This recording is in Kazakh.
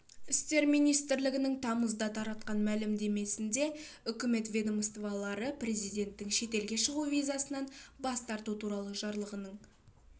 істер министрлігінің тамызда таратқан мәлімдемесінде үкімет ведомстволары президенттің шетелге шығу визасынан бас тарту туралы жарлығының